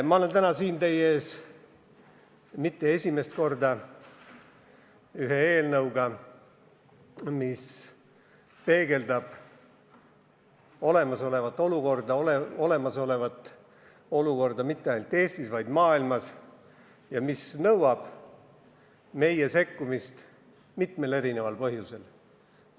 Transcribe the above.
Ma pole täna siin teie ees sugugi mitte esimest korda ühe eelnõuga, mis peegeldab olemasolevat olukorda nii Eestis kui ka mujal maailmas ja mis nõuab meie sekkumist mitmel erineval põhjusel.